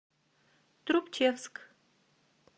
трубчевск